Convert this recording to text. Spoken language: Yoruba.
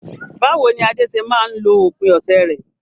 Báwo ni Ade ṣe máa ń lo òpin ọ̀sẹ̀ rẹ̀?